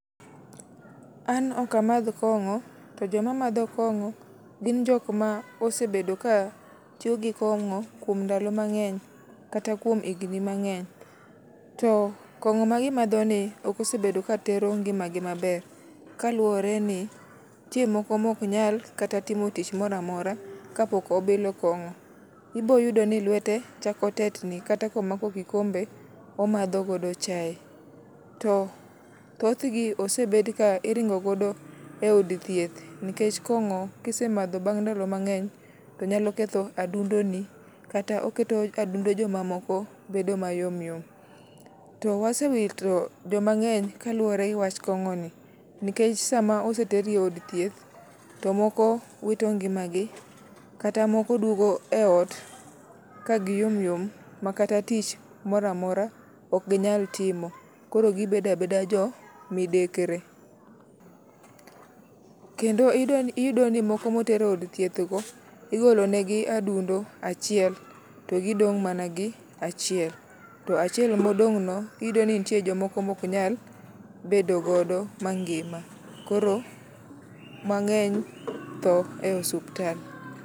An ok amadh kong'o to joma madho gi kong'o osebet ka tiyo gi kong'o kuom ndalo mang'eny, kata kuom higni mang'eny. To kong'o ma gimadhoni ok osebedo ka tero ngimagi maber. Kaluwore ni nitie moko maok nyal timo tich moro amora kapok obilo kong'o. Ibo yudo ni lwete chako tetni kata kata kom, ako kikombe omadho godo chae. To thothgi osebed kiringo godo eod thieth nikech kong'o kisemadho bang' ndalo mang'eny to nyalo ketho adundo ni. Kata oketo adundo jomamoko bedo mayom yom. To wase wito joma ng'eny kaluwore giwach kong'oni. Nikech sama oseter eod thieth to moko wito ngimagi kata moko duogo eot ka giyom yom makata tich moro amora ok ginyal timo.. koro gibedo abeda jomidekre. Kendo iyudo ni moko moter eod thiethdo, igolo negi adundo achiel to gidong' mana gi achiel. To achiel modong'no iyudo ni nitie jomoko maok nyal bedo godo m angima. Koro mang'eny tho e osiptal.